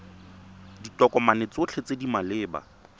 ditokomane tsotlhe tse di maleba